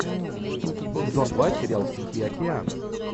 сезон два сериал тихий океан